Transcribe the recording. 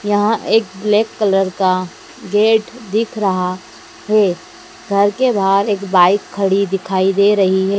यहां एक black colour का गेट दिख रहा है घर के बाहर एक बाइक खड़ी दिखाई दे रही है।